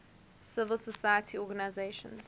civil society organizations